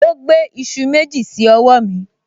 O gbé iṣu méjì sí ọwọ́ mi